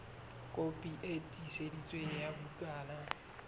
kopi e tiiseditsweng ya bukana